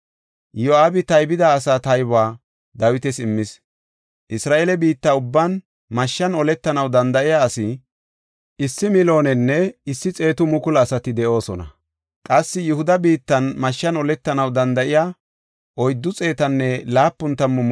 Iyo7aabi taybida asaa taybuwa Dawitas immis. Isra7eele biitta ubban mashshan oletanaw danda7iya issi 1,100,000 asati de7oosona. Qassi Yihuda biittan mashshan oletanaw danda7iya 470,000 asati de7oosona.